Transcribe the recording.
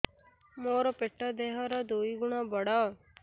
ମୋର ପେଟ ଦେହ ର ଦୁଇ ଗୁଣ ବଡ